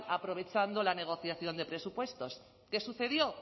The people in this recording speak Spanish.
aprovechando la negociación de presupuestos qué sucedió